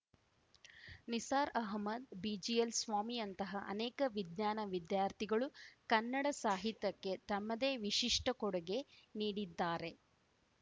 ನಿಸಾರ್‌ ಅಹಮ್ಮದ್‌ ಬಿಜಿಎಲ್‌ಸ್ವಾಮಿಯಂತಹ ಅನೇಕ ವಿಜ್ಞಾನ ವಿದ್ಯಾರ್ಥಿಗಳೂ ಕನ್ನಡ ಸಾಹಿತ್ಯಕ್ಕೆ ತಮ್ಮದೇ ವಿಶಿಷ್ಟಕೊಡುಗೆ ನೀಡಿದ್ದಾರೆ